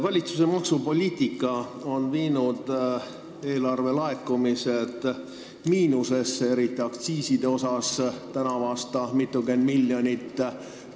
Valitsuse maksupoliitika on eelarvelaekumised, eriti just aktsiiside laekumised miinusesse viinud.